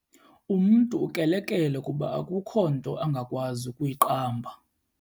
Umntu ukrelekrele kuba akukho nto angakwazi ukuyiqamba.